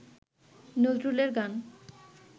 নজরুলের গান